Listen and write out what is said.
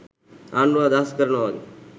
ආණ්ඩුව අදහස් කරනවා වගේ